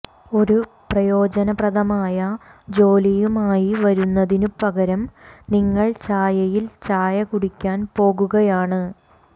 ഒരു പ്രയോജനപ്രദമായ ജോലിയുമായി വരുന്നതിനു പകരം നിങ്ങൾ ചായയിൽ ചായ കുടിക്കാൻ പോകുകയാണ്